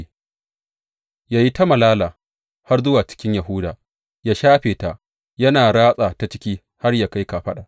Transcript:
Yă yi ta malala har zuwa cikin Yahuda, yă shafe ta, yana ratsa ta ciki har yă kai kafaɗa.